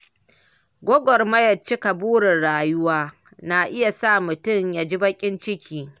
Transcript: Gwagwarmayar cika burin rayuwa na iya sa mutum ya ji baƙin ciki.